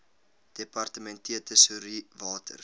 departemente tesourie water